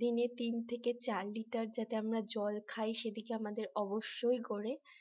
দিনে তিন থেকে চার লিটার যাতে আমরা জল খাই সেদিকে আমাদের অবশ্যই করে